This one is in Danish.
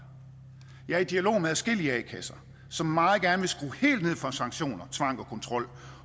jeg er i dialog med adskillige a kasser som meget gerne vil skrue helt ned for sanktioner tvang og kontrol